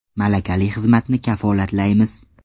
Malakali xizmatni kafolatlaymiz!.